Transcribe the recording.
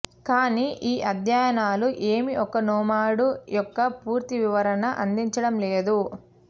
కానీ ఈ అధ్యయనాలు ఏమి ఒక నోమాడ్ యొక్క పూర్తి వివరణ అందించడం లేదు